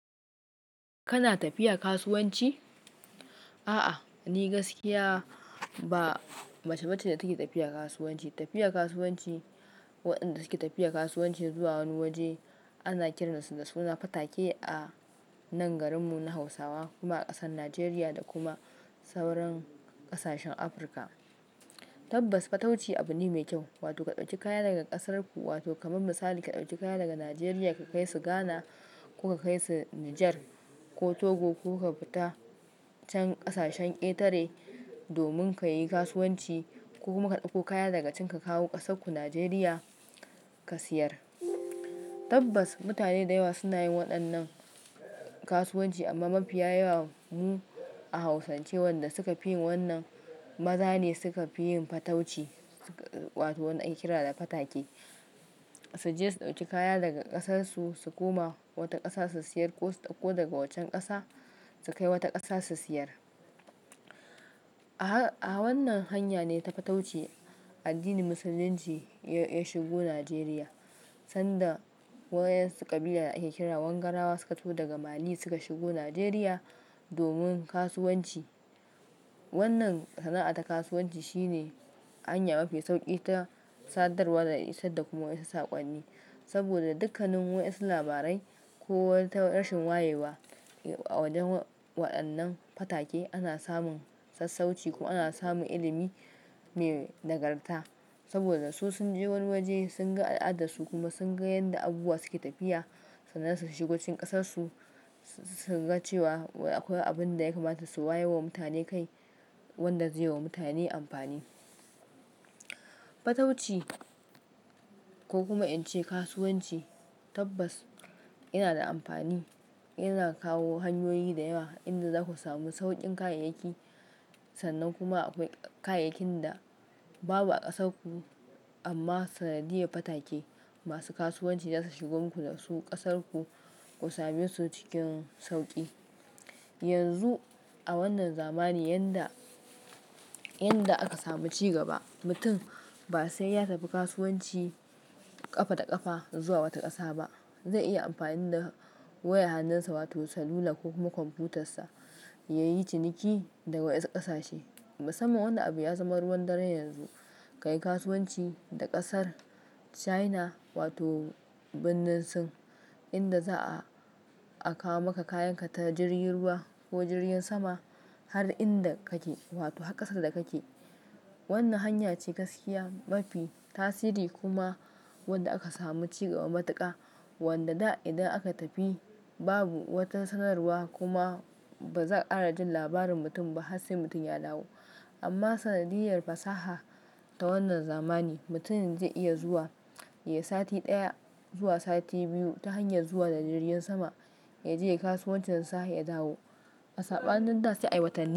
Kana tafiya kasuwanci? A'a, ni gaskiya ba mace ba ce da take tafiya kasuwanci. Tafiya kasuwanci, waɗanda suke tafiya kasuwanci zuwa wani waje ana kiransu da suna fatake a nan garinmu na Hausawa kuma a ƙasar Najeriya da kuma sauran ƙasashen Afirka. Tabbas, fatauci abune mai kyau, wato ka ɗauki kaya daga ƙasarku wato kamar misali ka ɗauki kaya daga Najeriya ka kai su Ghana ko ka kai su Nijar ko Togo ko ka fita can ƙasashen Ƙetare domin ka yi kasuwanci ko kuma ka ɗauko kaya daga can ka kawo ƙasarku Najeriya ka siyar. Tabbas, mutane da yawa suna yin waɗannan kasuwanci amma mafi yawa mu a Hausance waɗanda suka fi yin wannan maza ne suka fi yin fatauci wato waɗanda ake kira da fatake. Su je su ɗauki kaya daga ƙasarsu su koma wata ƙasa su siyar ko su ɗauko daga wancan ƙasa su kai wata ƙasa su siyar. A wannan hanya ne ta fatauci addinin Musulunci ya shigo Najeriya sanda waɗansu ƙabila ake kira wanganawa suka zo daga Mali suka shigo Najeriya domin kasuwanci. Wannan sana'ata kasuwanci shine hanya mafi sauƙi ta sadarwa da kuma isar da saƙonni. Saboda da dukkanin wasu labarai ko wata rashin wayewa a wajen waɗannan fatake ana samun sassauci kuma ana samun ilimi mai dagarta. Saboda su sun je wani waje sun ga al'adarsu kuma sun ga yadda abubuwa suke tafiya sannan su shigo cikin ƙasarsu sun ga cewa akwai abin da ya kamata su wayar wa mutane kai wanda zai yi wa mutane amfani. Fatauci ko kuma in ce kasuwanci tabbas yana da amfani, yana kawo hanyoyi da yawa inda zaku samu sauƙin kayayyaki sannan kuma akwai kayayyakin da babu a ƙasarku amma sanadiyar fatake masu kasuwanci zasu shigo muku da su ƙasarku ku same su cikin sauƙi. Yanzu a wannan zamani yanda, yanda aka samu ci gaba mutum ba sai ya tafi kasuwanci ƙafa da ƙafa zuwa wata ƙasa ba. Zai iya amfani da waya hannunsa wato salula ko kuma kwamfutarsa yayi ciniki daga wasu ƙasashe. Musamman wani abu ya zama ruwan dare yanzu, ka yi kasuwanci da ƙasar China wato birnin Sin inda za'a kawo maka kayanka ta jirgin ruwa ko jirgin sama har inda kake wato har ƙasar da kake. Wannan hanya ce gaskiya mafi tasiri kuma wanda aka samu ci gaba matuƙa wanda da idan aka tafi babu wata sanarwa kuma ba za'a kara jin labarin mutum ba har sai mutum ya dawo. Amma sanadiyar fasaha ta wannan zamani mutum zai iya zuwa, yi sati ɗaya zuwa sati biyu ta hanyar zuwa da jirgin sama ya je ya yi kasuwancinsa ya dawo. Asa ɓa nin da sai a yi watan ni.